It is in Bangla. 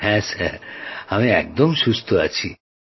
হ্যাঁ আমি একদম সুস্থ আছি